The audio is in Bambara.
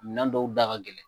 Minɛnw dɔw da ka gɛlɛn.